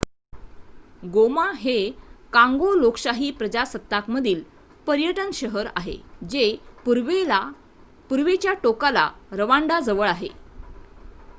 गोमा हे काँगो लोकशाही प्रजासत्ताकमधील पर्यटन शहर आहे जे पूर्वेच्या टोकाला रवांडाजवळ आहे